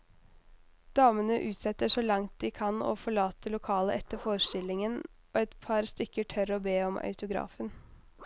Damene utsetter så langt de kan å forlate lokalet etter forestillingen, og et par stykker tør å be om autografen.